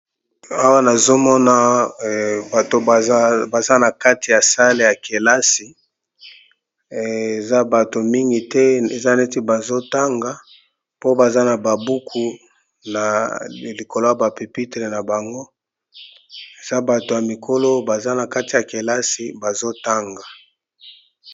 awa nazomona bato baza na kati ya sale ya kelasi eza bato mingi te eza neti bazotanga po baza na babuku na likolo ya bapepitle na bango eza bato ya mikolo baza na kati ya kelasi bazotanga